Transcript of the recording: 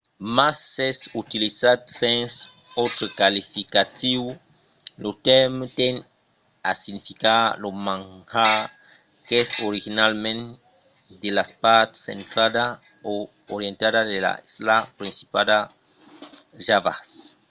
mas s'es utilizat sens autre qualificatiu lo tèrme tend a significar lo manjar qu'es originalament de las parts centrala e orientala de l'isla principala java